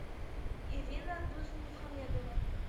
ирина дусмухамедова